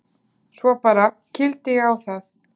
Svo bara. kýldi ég á það.